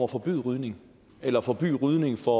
forbyde rygning eller forbyde rygning for